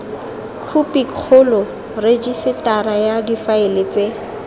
khopikgolo rejisetara ya difaele tse